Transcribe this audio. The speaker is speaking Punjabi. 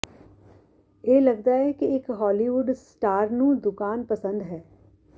ਇਹ ਲਗਦਾ ਹੈ ਕਿ ਇੱਕ ਹਾਲੀਵੁੱਡ ਸਟਾਰ ਨੂੰ ਦੁਕਾਨ ਪਸੰਦ ਹੈ